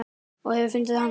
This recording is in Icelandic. Ég hef fundið hana!